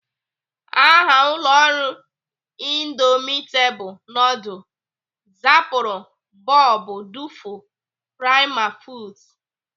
Aha ụlọ ọrụ indomitable nudul zaburu bụbu Duful Prima foods.